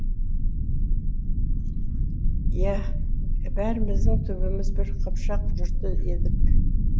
иә бәріміздің түбіміз бір қыпшақ жұрты едік